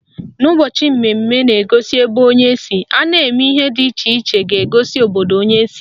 N'ụbọchị mmemme na-egosi ebe onye si, a na-eme ihe dị iche iche ga-egosi obodo onye si